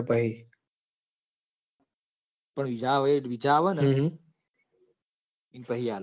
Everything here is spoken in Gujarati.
હિજા એ ડીજા અવન એ ઇન પહી અલાયા